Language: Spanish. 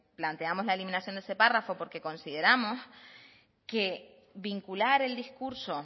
planteamos la eliminación de ese párrafo porque consideramos que vincular el discurso